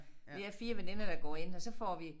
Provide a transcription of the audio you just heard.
Vi er 4 veninder der går ind og så får vi